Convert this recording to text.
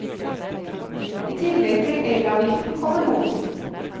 I tillegg til elavgiften kommer momsen.